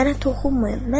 Mənə toxunmayın.